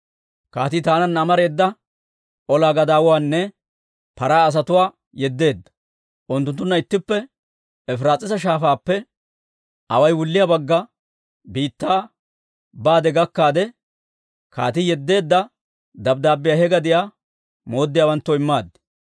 Kaatii taananna amareeda olaa gadaawatuwaanne paraa asatuwaa yeddeedda; unttunttunna ittippe Efiraas'iisa Shaafaappe away wulliyaa bagga biittaa baade gakkaade, kaatii yeddeedda dabddaabbiyaa he gadiyaa mooddiyaawanttoo immaad.